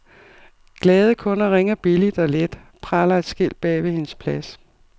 Glade kunder ringer billigt og let, praler et skilt bagved hendes plads.